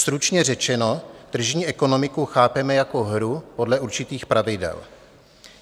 Stručně řečeno, tržní ekonomiku chápeme jako hru podle určitých pravidel.